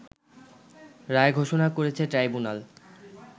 রায় ঘোষণা করেছে ট্রাইব্যুনাল